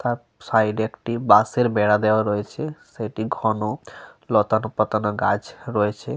তার সাইড -এ একটি বাঁশের বেড়া দেওয়া রয়েছে। সেটি ঘন লতানো পাতানো গাছ রয়েছে।